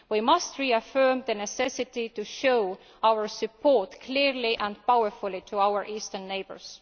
We must reaffirm the necessity to show our support clearly and powerfully to our eastern neighbours.